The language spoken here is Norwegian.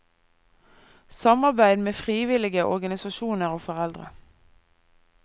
Samarbeid med frivillige organisasjoner og foreldre.